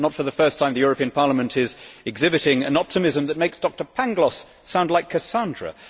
Not for the first time, the European Parliament is exhibiting an optimism that makes Doctor Pangloss sound like Cassandra.